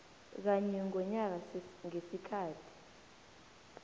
kanye ngonyaka ngesikhathi